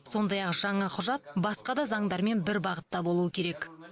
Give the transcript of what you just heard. сондай ақ жаңа құжат басқа да заңдармен бір бағытта болуы керек